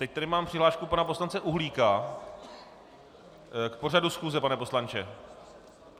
Teď tady mám přihlášku pana poslance Uhlíka - k pořadu schůze, pane poslanče?